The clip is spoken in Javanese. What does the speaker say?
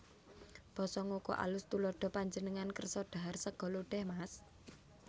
Basa Ngoko AlusTuladha Panjenengan kersa dhahar sega lodèh Mas